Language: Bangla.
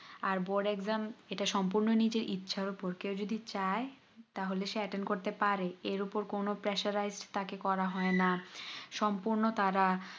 আর board exam ইটা সম্পূর্ণ নিজের ইচ্ছার উপর কেও যদি চাই তাহলে সে attend করতে পারে এর উপর কোনো pressurized তাকে করা হয়না সম্পূর্ণ তারা